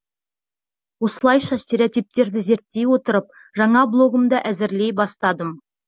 осылайша стереотиптерді зерттей отырып жаңа блогымды әзірлей бастадым